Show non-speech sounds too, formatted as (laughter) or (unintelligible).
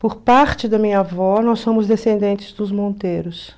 Por parte da minha avó, nós somos descendentes dos (unintelligible)